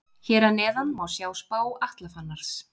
Hér að neðan má sjá spá Atla Fannars.